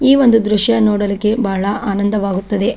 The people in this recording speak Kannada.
ಈ ಒಂದು ದೃಶ್ಯ ನೋಡಲಿಕ್ಕೆ ಬಹಳ ಆನಂದವಾಗುತ್ತದೆ.